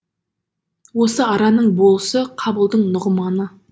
осы араның болысы қабылдың нұғманы